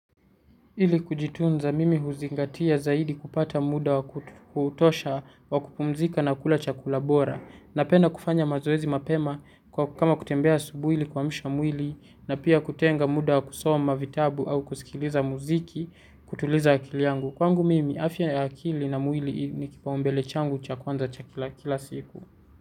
Ili kujitunza mimi huzingatia zaidi kupata muda wa kutosha wa kupumzika na kula chakula bora. Napenda kufanya mazoezi mapema kama kutembea asubuhi ili kuamsha mwili na pia kutenga muda wa kusoma vitabu au kusikiliza muziki kutuliza akili yangu. Kwangu mimi afya ya akili na mwili ni kipaumbele changu cha kwanza cha kila, kila siku.